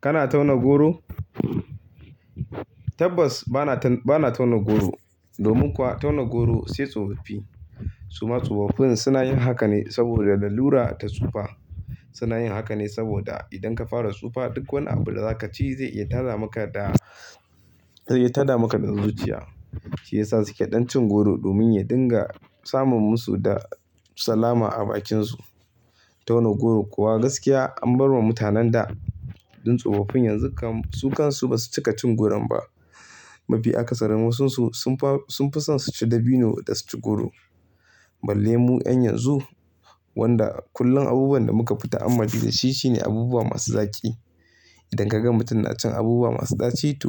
Kana tauna goro? Tabbas bana tauna goro. Domin kuwa tauna goro sai tsofoffii. Su ma tsofoffin suna yin haka ne saboda lalura ta tsufa. Suna yin haka ne saboda idan ka fara tsufa duk wani abu da za ka ci zai iya tada maka da, zai iya tada maka zuciya. Shi yasa suke ɗan cin goro domin ya dinga samun musu da salama a bakinsu. Tauna goro kuwa gaskiya an bar wa mutanen da. Tun tsofoffin yanzu su kan su ba su cika cin goron ba. Mafi akasarin masunsu sun fi son su ci dabino da su ci goro. Balle mu 'yan yanzu wanda kullum abubuwan da muka fita a mafi da shi shine abubuwa masu zaƙi. Idan ka ga mutum na cin abubuwa masu ɗaci to,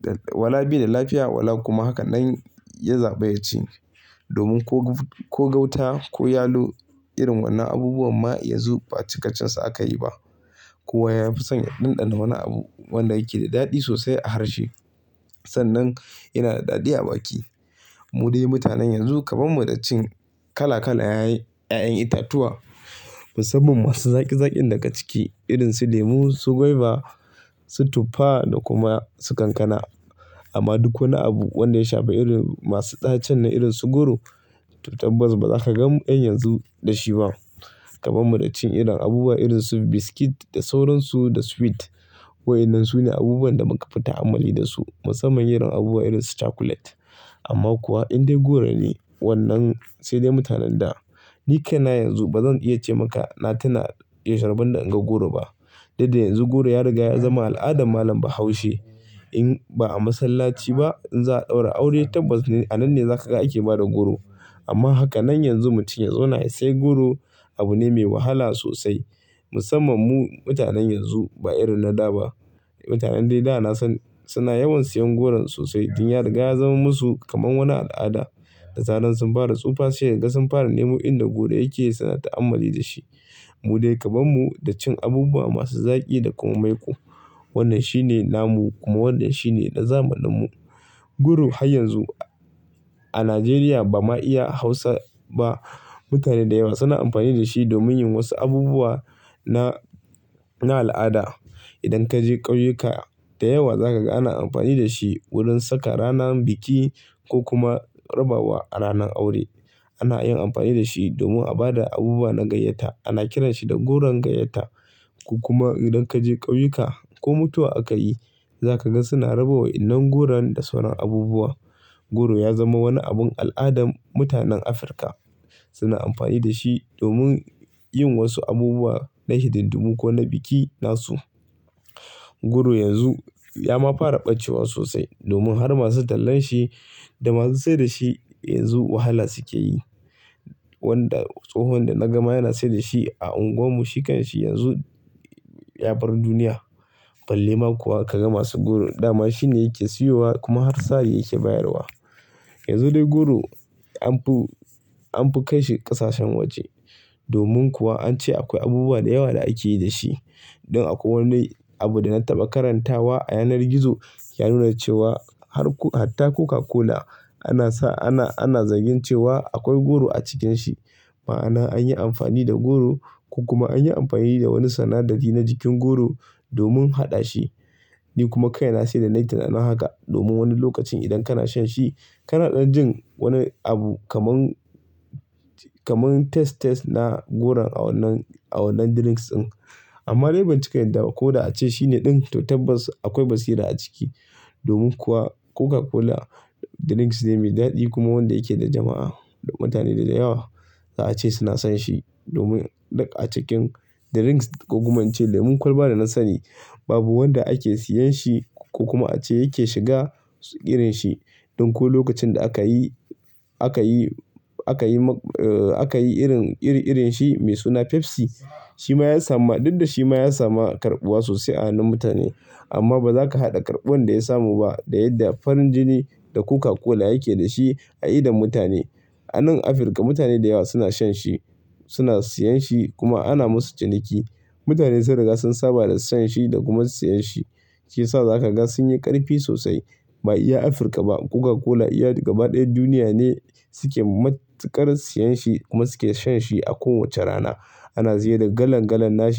da wala bai da lafiya wala kuma hakanen ya zaɓi ya ci. Domin ko gauta ko yalo irin wannan abubuwan ma ya zo ba a cikacinsa aka yi ba. Ko wa ya fi son ya ɗanɗana wani abu wanda yake da daɗi sosai a harshe sannan yana da daɗi a baki. Mu dai mutanen yanzu kaman mu da cin kala kala ƴa'ƴan itatuwa musamman masu zaƙi zaƙin daga ciki irin su lemu, su guava, su tuffa da kuma su kankana. Amma duk wani abu wanda ya shafa irin masu ɗacen na irin su goro to tabbas ba za ka ga 'yan yanzu da shi ba. Kaman mu da cin irin abubuwa irin su biskit da sauransu da sweet waɗannan su ne abubuwan da muka fita amfani da su musamman irin abubuwa irin su cakulet. Amma kuwa in dai goro ne wannan sai dai mutanen da. Ni kaina yanzu ba zan iya ce maka na tuna yausha rabon da inga goro ba. Duk da yanzu goro ya riga ya zama al'adar malam bahaushe. In ba a masallaci ba in za'a ɗaura aure tabbas a nan ne za ka ga ake ba da goro. Amma haka nan yanzu mutum ya zauna ya sai goro abu ne mai wahala sosai. Musamman mu mutanen yanzu ba irin na da ba. Mutanen dai da na san suna yawan siyan goron sosai tun ya riga ya zama musu kaman wani al'ada. Da tsaran sun fara tsufa sai ka ga sun fara nemo inda goro yake suna ta'amalli da shi. Mu dai kaman mu da cin abubuwa masu zaƙi da komai ku. Wannan shi ne namu kuma wannan shi ne na zamaninmu. Goro har yanzu a Najeriya ba ma iya Hausa ba mutane da yawa suna amfani da shi domin yin wasu abubuwa na, na al'ada. Idan ka je ƙauyuka da yawa za ka ga ana amfani da shi wurin saka ranan biki ko kuma rabawa a ranan aure. Ana yin amfani da shi domin a ba da abubuwa na gayyata. Ana kiran shi da goron gayyata. Ku kuma idan ka je ƙauyuka ko mutuwa aka yi za ka ga suna rabawa idan goron da sauran abubuwa. Goro ya zama wani abun al'adar mutanen Afirka. Suna amfani da shi domin yin wasu abubuwa na hididdun ko na biki nasu. Goro yanzu ya ma fara ɓacewa sosai domin har masu tallan shi da masu saida shi yanzu wahala suke yi. Wanda tsohon da na gama yana saida shi a unguwar mu, shi kan shi yanzu ya bar duniya. Balle ma kuwa ka ga masu goro. Da ma shi ne yake siyowa kuma har sa yake bayarwa. Yanzu dai goro an fi, an fi kai shi ƙasashen waje. Domin kuwa an ce akwai abubuwa da yawa da ake yi da shi. In akwai wani abu da na taɓa karantawa a yanar gizo ya nuna cewa har ko, har ta Coca-Cola ana sa, ana, ana zargi cewa akwai goro a cikin shi. Ma'ana an yi amfani da goro ko kuma an yi amfani da wani sanadari na jikin goro domin haɗa shi. Ni kuma kai na sai da na yi tunanin haka domin wani lokacin idan kana shan shi kana ɗan jin wani abu kaman, kaman taste, taste na goro a wannan, a wannan drinks ɗin. Amma dai ban cika yarda ba. Koda ace shine ɗin to tabbas akwai basira a ciki. Domin kuwa Coca-Cola drinks ne mai daɗi kuma wanda yake da jama'a. Mutane da da yawa za a ce suna son shi. Domin a cikin drinks ko kuma an ce lemon kwalba da na sani babu wanda ake siyan shi ko kuma a ce yake shiga irin shi. ɗIn ko lokacin da aka yi, aka yi, aka yi, aka yi irin, iri-irin shi mai suna Pepsi, shi ma ya samu, duk da shi ma ya samu karɓuwa sosai a hannun mutane. Amma ba za ka haɗa karɓuwan da ya samu ba da yadda farin jini da Coca-Cola yake da shi a idon mutane. A nan Afirka mutane da yawa suna shan shi, suna siyan shi kuma ana musu ciniki. Mutane sun riga sun saba da siyan shi da kuma siyan shi, shi yasa za ka ga sun yi ƙarfi sosai. Ba iya Afirka ba Coca-Cola iya gaba ɗaya duniya ne suke matuƙar siyan shi kuma suke shan shi a kowace rana. Ana siyar da galan galan na shi.